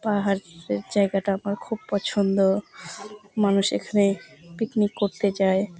পাহাড়-এর জায়গাটা আমার খুব পছন্দ মানুষ এখানে পিকনিক করতে যায়।